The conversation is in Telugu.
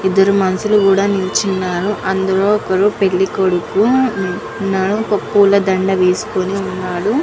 ఇద్దరు మనుషులు కూడా నించున్నారు. అందులో ఒకడు పెళ్లి కొడుకు. ఉం ఉన్నాడు. ఒక పూల దండ వేసుకొని ఉన్నాడు.